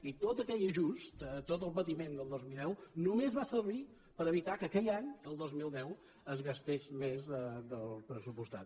i tot aquell ajust tot el patiment del dos mil deu només va servir per evitar que aquell any el dos mil deu es gastés més del pressupostat